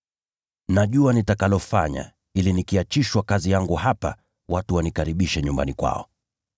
Najua nitakalofanya ili nikiachishwa kazi yangu hapa, watu wanikaribishe nyumbani kwao.’